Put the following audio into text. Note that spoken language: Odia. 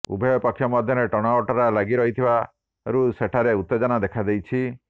ଉଭୟ ପକ୍ଷ ମଧ୍ୟରେ ଟଣାଓଟାର ଲାଗି ରହିଥିବାରୁ ସେଠାରେ ଉତ୍ତେଜନା ଦଖାଦେଇଛି